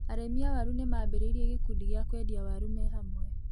Arĩmi a waru nĩmambĩrĩirie gĩkundi gia kũendia waru me hamwe.